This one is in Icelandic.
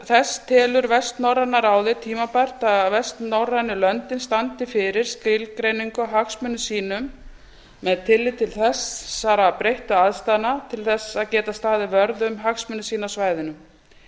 þessa telur vestnorræna ráðið tímabært að vestnorrænu löndin standi fyrir skilgreiningu á hagsmunum sínum með tilliti til þessara breyttu aðstæðna til að geta staðið vörð um hagsmuni sína á svæðinu